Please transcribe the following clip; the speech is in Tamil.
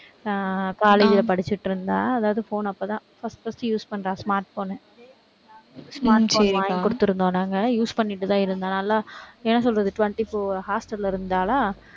ஆஹ் college ல படிச்சுட்டிருந்தா. அதாவது phone அப்போதான் first, first use பண்றா smart phone ஐ smart phone வாங்கி கொடுத்திருந்தோம் நாங்க. use பண்ணிட்டுதான் இருந்தா. நல்லா, என்ன சொல்றது? hostel ல இருந்தாளா